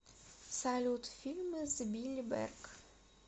салют фильмы с билли берк